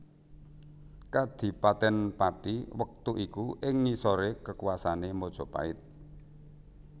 Kadhipaten Pathi wektu iku ing ngisore kekuasaane Majapahit